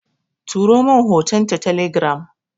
Turomin hoton ta telegiram